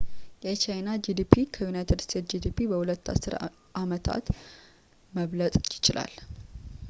የቻይና ጂዲፒ ከዩናይትድ ስቴትስ ጂዲፒ በሁለት አስር አመታቶች መብለጥ ይችላል